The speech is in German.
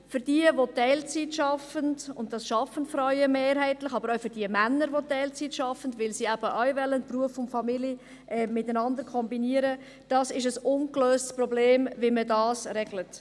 Für jene, welche in Teilzeit arbeiten – und das betrifft mehrheitlich die Frauen, aber auch die in Teilzeit arbeitenden Männer, die Beruf und Familie auch miteinander kombinieren wollen – ist es ein ungelöstes Problem, wie man die Vertrauensarbeitszeit regelt.